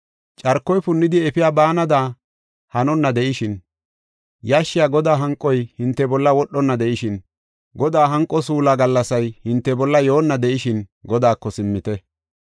Carkoy punnidi efiya baanada hanonna de7ishin, yashshiya Godaa hanqoy hinte bolla wodhonna de7ishin, Godaa hanqo suulaa gallasay hinte bolla yoonna de7ishin Godaako simmite.